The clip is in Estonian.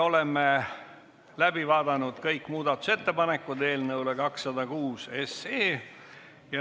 Oleme läbi vaadanud kõik muudatusettepanekud.